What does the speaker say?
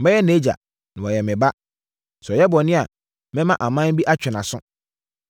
Mɛyɛ nʼagya, na wayɛ me ba. Sɛ ɔyɛ bɔne a, mɛma aman bi atwe nʼaso.